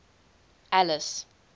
alice